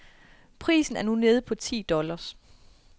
Prisen er nu nede på ti dollars.